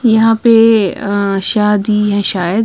यहां पे शादी शायद ही है शायद।